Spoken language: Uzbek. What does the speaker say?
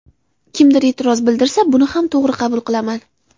Kimdir e’tiroz bildirsa buni ham to‘g‘ri qabul qilaman”.